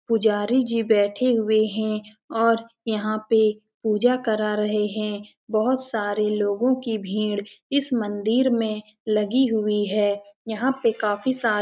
पुजारी जी बैठे हुए हैं और यहाँ पे पूजा करा रहे हैं। बहोत सारे लोगों की भीड़ इस मंदिर में लगी हुई है। यहाँ पे काफी सारे --